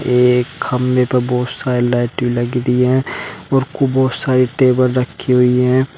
ये एक खंभे पर बहुत सारी लाइटे लग रही है और खूब बहोत सारी टेबल रखी हुई है।